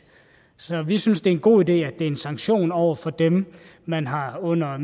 så vi synes det er en god idé at det er en sanktion over for dem man har under